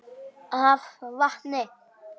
af vatni.